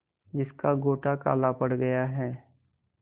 जिसका गोटा काला पड़ गया है